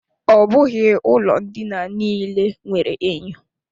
Ọ bụghị ụlọ ndina niile nwere enyo.